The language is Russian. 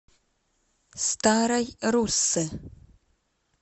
старой руссы